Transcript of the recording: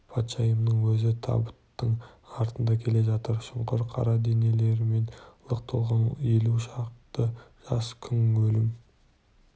патшайымның өзі табыттың артында келе жатыр шұңқыр қара денелермен лық толған елу шақты жас күң өлім